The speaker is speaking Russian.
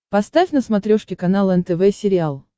поставь на смотрешке канал нтв сериал